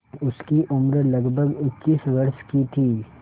उसकी उम्र लगभग इक्कीस वर्ष की थी